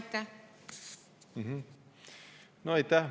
No aitäh!